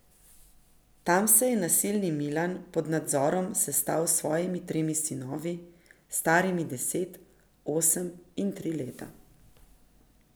Tam se je nasilni Milan pod nadzorom sestal s svojimi tremi sinovi, starimi deset, osem in tri leta.